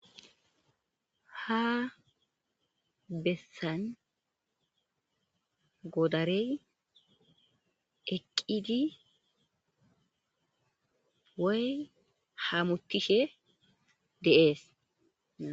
Ha bessan godarey eqqidi woy hamuttishe de'es.